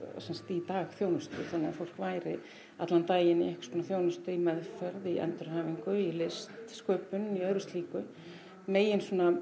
í dagþjónustu þannig að fólk væri allan daginn í einhvers konar þjónustu í meðferð í endurhæfingu í listsköpun í öðru slíku megin svona